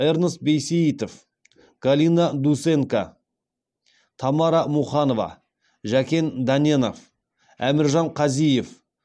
эрнст бейсеитов галина дусенко тамара муханова жәкен дәненов әміржан қазиев